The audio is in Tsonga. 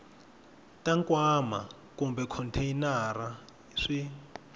ta nkwama kumbe khonteyinara swi